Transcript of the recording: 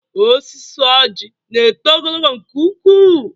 Osisi oji na eto ogologo nke ụkwụ